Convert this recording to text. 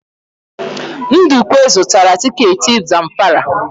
Ndukwe zụtara tiketi Zamfara.